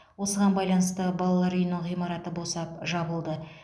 осыған байланысты балалар үйінің ғимараты босап жабылды